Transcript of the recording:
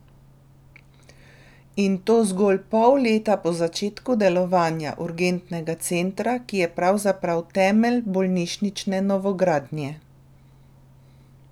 In to zgolj pol leta po začetku delovanja urgentnega centra, ki je pravzaprav temelj bolnišnične novogradnje.